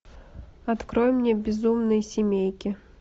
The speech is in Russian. открой мне безумные семейки